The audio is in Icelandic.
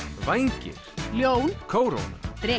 vængir ljón kóróna